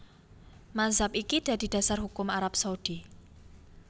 Mazhab iki dadi dasar hukum Arab Saudi